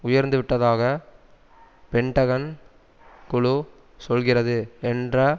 உயர்ந்துவிட்டதாக Pentagon குழு சொல்கிறது என்ற